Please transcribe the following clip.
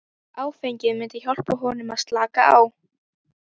Áfengið myndi hjálpa honum að slaka á.